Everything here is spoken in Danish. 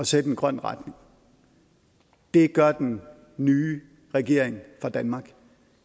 sætte en grøn retning det gør den nye regering for danmark